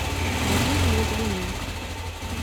ириной логвиненко